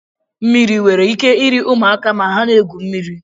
Mmiri nwere ike iri ụmụaka ma ha na-egwu mmiri